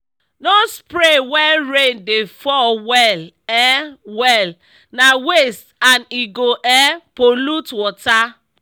no spray when rain dey fall well um well—na waste and e go um pollute water.